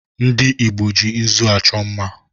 Ndị Igbo ji nzụ achọ mma